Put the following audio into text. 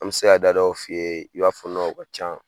An bɛ se ka da dɔw f'i ye, i b'a fɔ o ka can